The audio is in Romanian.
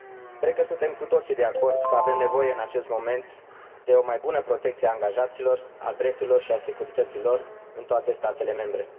Cred că suntem cu toții de acord că avem nevoie, în acest moment, de o mai bună protecție a angajaților, a drepturilor și a securității lor în toate statele membre.